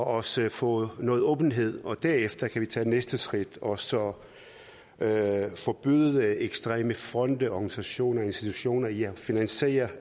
os få noget åbenhed og derefter kan vi tage næste skridt og så forbyde ekstreme fonde organisationer institutioner i at finansiere